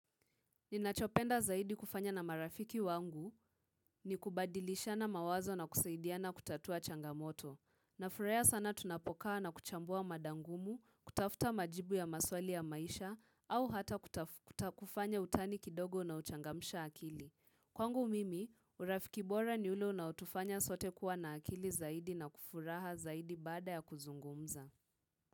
Ninachopenda zaidi kufanya na marafiki wangu ni kubadilishana mawazo na kusaidiana kutatua changamoto. Nafurahia sana tunapokaa na kuchambua mada ngumu, kutafuta majibu ya maswali ya maisha au hata kuta kutakufanya utani kidogo unaochangamsha akili. Kwangu mimi, urafik ibora ni ule na utufanya sote kuwa na akili zaidi na kufuraha zaidi bada ya kuzungumza.